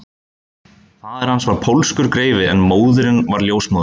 Faðir hans var pólskur greifi en móðirin var ljósmóðir